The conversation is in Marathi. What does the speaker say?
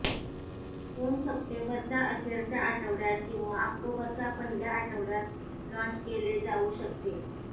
फोन सप्टेंबरच्या अखेरच्या आठवड्यात किंवा ऑक्टोबरच्या पहिल्या आठवड्यात लाँच केले जावू शकते